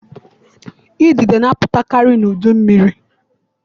Idide na-apụtakari n'udu mmiri.